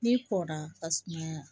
N'i kɔnna ka tumaa